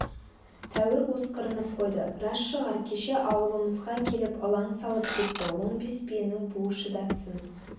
тәуір осқырынып қойды рас шығар кеше ауылымызға келіп ылаң салып кетті он бес биенің буы шыдатсын